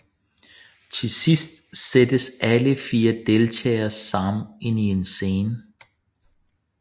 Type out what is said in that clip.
Til sidst sættes alle 4 deltagere sammen ind i en scene